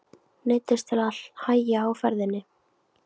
Neyddist til að hægja á ferðinni.